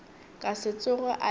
ka se tsoge a e